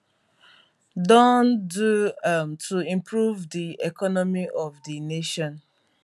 don do um to improve di economy of di nation